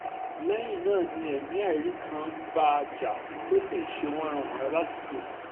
lẹ́yìn náà ni ẹ̀mí àìrí kan ń bá a jà tó sì ń ṣe wánranwànran ládùúgbò